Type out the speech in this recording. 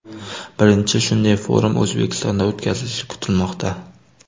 Birinchi shunday forum O‘zbekistonda o‘tkazilishi kutilmoqda.